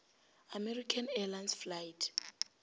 american airlines flight